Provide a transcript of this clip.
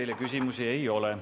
Teile küsimusi ei ole.